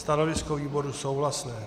Stanovisko výboru - souhlasné.